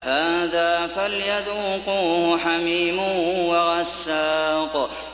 هَٰذَا فَلْيَذُوقُوهُ حَمِيمٌ وَغَسَّاقٌ